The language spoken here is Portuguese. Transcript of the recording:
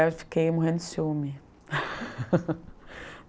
Eu fiquei morrendo de ciúme.